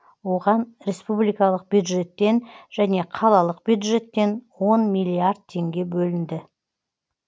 оған республикалық бюджеттен және қалалық бюджеттен он миллиард теңге бөлінді